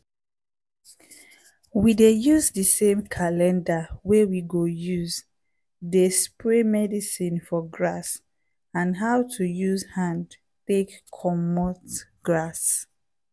we dey use di same calender wey we go use dey spray medicine for grass and how to use hand take comot grass